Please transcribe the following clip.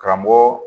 Karamɔgɔ